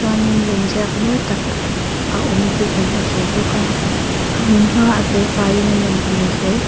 chuanin lemziak mawi tak a awm tih kan hmu thei bawk a a hmunhma a felfaiin a nawm hmel hle.